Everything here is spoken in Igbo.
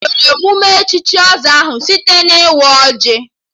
E bidoro emụme echichi ọzọ ahụ site na-ịwa ọjị